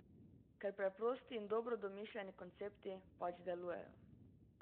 Ker preprosti in dobro domišljeni koncepti pač delujejo.